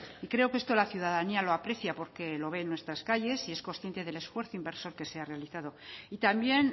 y creo que esto la ciudadanía lo aprecia porque lo ve en nuestras calles y es consciente del esfuerzo inversor que se ha realizado y también